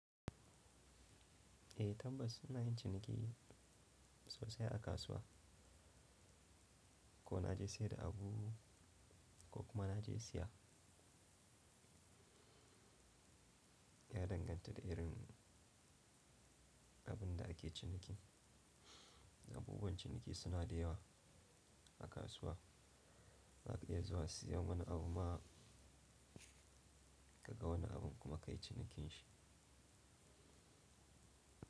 Eh tabbas ina yin ciniki sosai a kasuwa. Ko na je sayar da abu ko kuma na je siya ya danganta da irin abin da ake ciniki. Abubuwan ciniki suna da yawa a kasuwa. Za ka iya zuwa siya wani abu ma ka ga wani abun kuma ka yi cinikin shi.